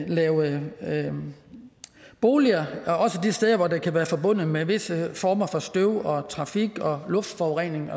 lave boliger de steder hvor det kan være forbundet med visse former for støv trafik og luftforurening